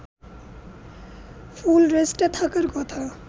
ফুল রেস্টে থাকার কথা